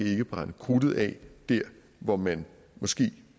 ikke brænde krudtet af der hvor man måske